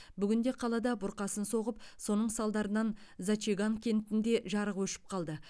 бүгін де қалада бұрқасын соғып соның салдарынан зачаган кентінде жарық өшіп қалды